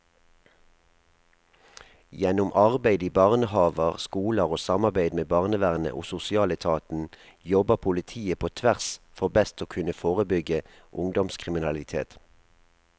Gjennom arbeid i barnehaver, skoler og samarbeid med barnevernet og sosialetaten jobber politiet på tvers for best å kunne forebygge ungdomskriminalitet.